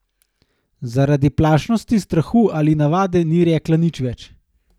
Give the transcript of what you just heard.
Zaradi plašnosti, strahu ali navade ni rekla nič več.